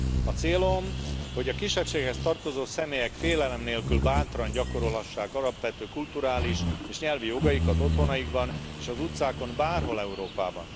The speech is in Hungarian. A célom, hogy a kisebbséghez tartozó személyek félelem nélkül, bátran gyakorolhassák alapvető kulturális és nyelvi jogaikat otthonaikban és az utcákon, bárhol Európában.